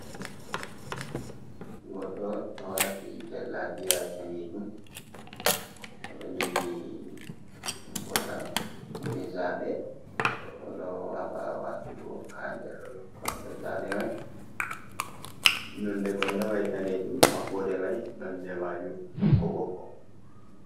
Goɗɗo do waati jallabiya danejum, oɗo jogi votta jei zaaɓe oɗo haɓa waatugo ha nder kondo zaaɓe mai, nonde kondo mai danejum maɓɓode mai nonde maajum ɓokko ɓokko.